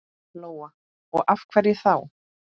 Lóa: Og af hverju þá?